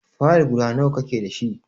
Fayil guda nawa ka ke dashi?